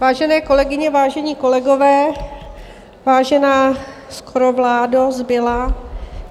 Vážené kolegyně, vážení kolegové, vážená skoro vládo - zbylá.